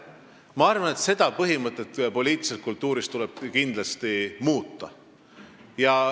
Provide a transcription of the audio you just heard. Ma arvan, et seda põhimõtet poliitilises kultuuris tuleb kindlasti muuta.